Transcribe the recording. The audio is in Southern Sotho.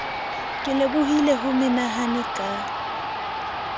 ke lebohile ho menahane ka